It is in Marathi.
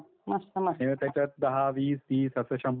आणि त्याच्यात दहा, वीस, तीस असं शंभर पर्यंत करायचं.